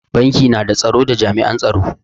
Banki na da tsaro da jami'an tsaro.